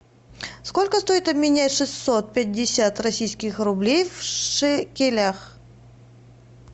сколько стоит обменять шестьсот пятьдесят российских рублей в шекелях